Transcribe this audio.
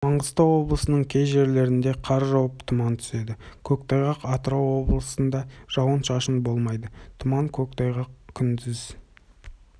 маңғыстау облысының кей жерлерінде қар жауып тұман түседі көктайғақ атырау облысында жауын-шашын болмайды тұман көктайғақ күндіз